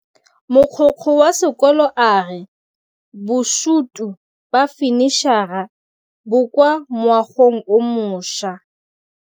Mogokgo wa sekolo a re bosutô ba fanitšhara bo kwa moagong o mošwa.